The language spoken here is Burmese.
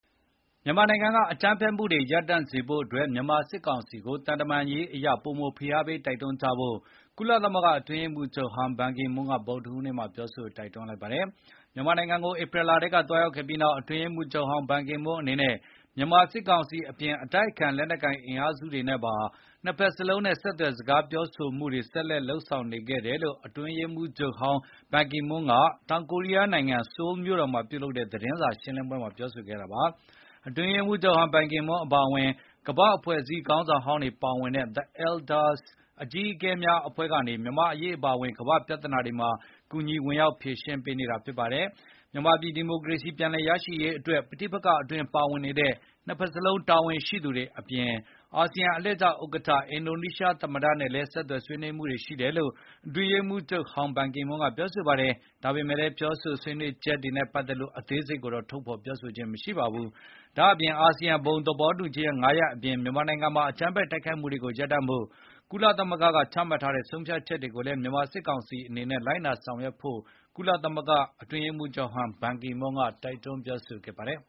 မြန်မာနိုင်ငံကအကြမ်းဖက်မှုတွေရပ်တန့်စေဖို့ မြန်မာစစ်ကောင်စီကို သံတမန်ရေးအရ ပိုမိုဖိအားပေး တိုက်တွန်းကြဖို့ ကုလသမဂ္ဂအတွင်းရေးမှုးချုပ်ဟောင်း ဘန်ကီမွန်းက ဗုဒ္ဓဟူးနေ့ပြောဆိုလိုက်ပါတယ်။ မြန်မာနိုင်ငံကို ဧပြီလထဲကသွားရောက်ခဲ့ပြီးနောက် အတွင်းရေးမှုးချုပ်ဟောင်း ဘန်ကီမွန်းအနေနဲ့ မြန်မာ စစ်ကောင်စီအပြင် အတိုက်အခံလက်နက်ကိုင်အင်အားစုတွေနဲ့ပါ နှစ်ဘက်လုံးနဲ့ ဆက်သွယ်စကား ပြောဆိုမှုတွေ ဆက်လက်လုပ် ဆောင်နေခဲ့တယ်လို့ အတွင်းရေးမှုးချုပ်ဟောင်း ဘန်ကီမွန်းက တောင်ကိုရီး ယားနိုင်ငံ၊ ဆိုးလ်မြို့တော်မှာပြုလုပ်တဲ့သတင်းစာရှင်းလင်းပွဲမှာပြောဆိုခဲ့ပါတယ်။ အတွင်းရေးမှုးချုပ်ဟောင်း ဘန်ကီမွန်းအပါအဝင် ကမ္ဘာ့အဖွဲ့အစည်းခေါင်းဆောင်ဟောင်းတွေပါဝင်တဲ့ The Elders “အကြီးအကဲများ” အဖွဲ့ကနေ မြန်မာ့အရေးနဲ့ ကမ္ဘာပြဿနာတွေမှာ ကူညီဝင်ရောက်ဖြေရှင်းပေး နေတာဖြစ်ပါတယ်။ မြန်မာပြည်ဒီမိုကရေစီပြန်လည်ရရှိရေးအတွက် ပဋိပက္ခအတွင်းပါဝင်နေတဲ့ နှစ်ဘက်စလုံးကတာဝန်ရှိသူတွေ အပြင် အာဆီယံအလှည့်ကျဥက္ကဌ အင်ဒိုနီးရှားသမ္မတနဲ့လည်း ဆက်သွယ်ဆွေးနွေးမှုတွေရှိတယ်လို့ အတွင်းရေးမှုးချုပ်ဟောင်း ဘန်ကီမွန်းကပြောဆိုခဲ့ပါတယ်။ ဒါပေမယ်လည်း ဆွေးနွေးပြောဆိုချက် တွေနဲ့ပတ်သက်လို့ အသေးစိတ်ကိုတော့ထုတ်ဖေါ် ပြောဆိုခြင်းမရှိပါဘူး။ ဒါ့အပြင် အာဆီယံဘုံသဘောတူညီချက် ၅ ရပ်အပြင် မြန်မာနိုင်ငံမှာအကြမ်းဖက်တိုက်ခိုက်မှုတွေကို ရပ်တန့်ရေး ကုလသမဂ္ဂကချမှတ်ထားတဲ့ ဆုံးဖြတ်ချက်တွေကိုလည်း မြန်မာစစ်ကောင်စီအနေနဲ့ လိုက်နာလုပ်ဆောင်ဖို့ ကုလသမဂ္ဂအတွင်း ရေးမှုးချုပ်ဟောင်း ဘန်ကီမွန်းကတိုက်တွန်းပြောဆိုခဲ့ပါတယ်